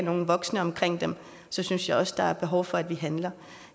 nogen voksne omkring dem synes jeg også der er behov for at vi handler